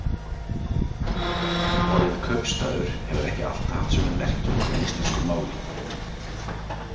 Orðið kaupstaður hefur ekki alltaf haft sömu merkingu í íslensku máli.